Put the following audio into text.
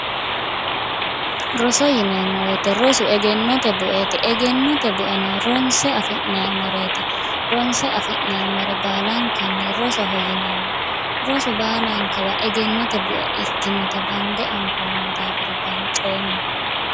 Roso yineemo woyte rosu egenote bueti egenote bueno ronse affineemoreeti, ronse affinoomore baalankanni rosoho yineemo, rosu baalankawa egenote bue ikkinota bande anfoomohura banxxeemo